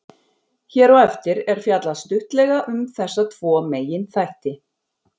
Hér á eftir er fjallað stuttlega um þessa tvo meginþætti.